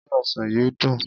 Se ọsàn yìí dùn?